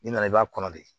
N'i nana i b'a kɔnɔ de